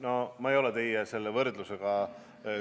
No ma ei ole teie selle võrdlusega ...